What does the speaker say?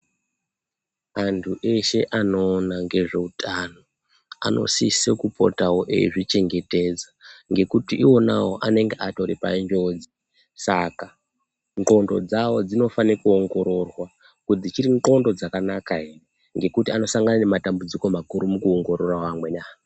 Antu eshe anoona ngezvehutano anosisa kupotawo eizvichengetedza ngekuti iwonawo anenge aripanjodzi Saka ngondo dzawo dzinofanira kuongororwa kuti dzichiri ngondo dzakanaka here ngekuti anosangana nematambudziko makuru mukuongorora amweni.